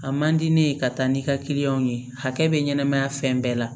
A man di ne ye ka taa ni ka kiliyanw ye hakɛ bɛ ɲɛnɛmaya fɛn bɛɛ la